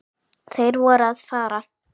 Þeir voru að fara.